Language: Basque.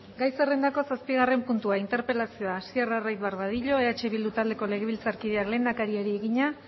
gai zerrendako zazpigarren puntua interpelazioa hasier arraiz barbadillo eh bildu taldeko legebiltzarkideak lehendakariari egina